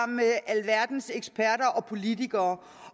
med alverdens eksperter og politikere